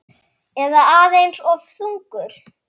Eða aðeins of þungur?